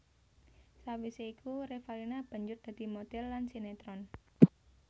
Sawisé iku Revalina banjur dadi modhèl lan sinetron